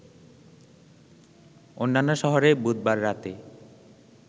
অন্যান্য শহরে বুধবার রাতে